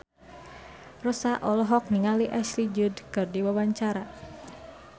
Rossa olohok ningali Ashley Judd keur diwawancara